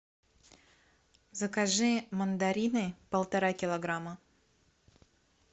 закажи мандарины полтора килограмма